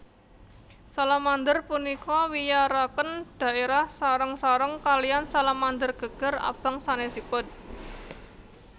Salamander punika wiyaraken dhaérah sareng sareng kaliyan salamander geger abang sanesipun